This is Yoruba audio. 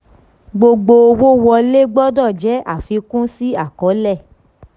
gbogbo owó wọlé gbọdọ̀ jẹ́ àfikún sí àkọọ́lẹ̀.